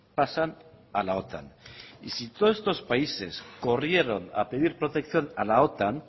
pasan a la otan y si todos estos países corrieron a pedir protección a la otan